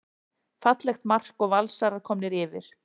Fallegt mark og Valsarar komnir yfir.